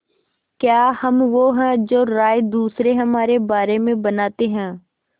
क्या हम वो हैं जो राय दूसरे हमारे बारे में बनाते हैं